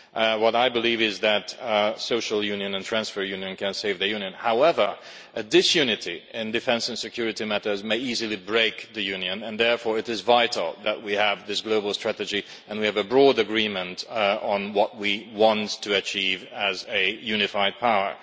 What I believe is that social union and a transfer union can save the Union. However, disunity in defence and security matters might easily break the Union and therefore it is vital that we have this global strategy and that we have a broad agreement on what we want to achieve as a unified power.